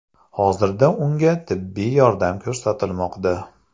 Hozirda unga tibbiy yordam ko‘rsatilmoqda.